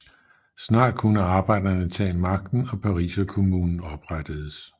Snart kunne arbejderne tage magten og Pariserkommunen oprettedes